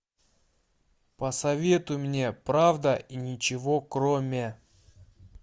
посоветуй мне правда и ничего кроме